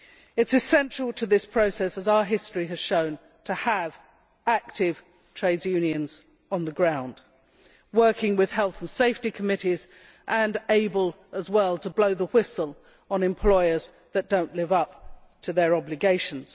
It is essential to this process, as our history has shown, to have active trade unions on the ground working with health and safety committees and able to blow the whistle on employers who do not live up to their obligations.